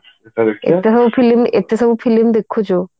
ଏତେସବୁ film ଏତେସବୁ film ଦେଖୁଛୁ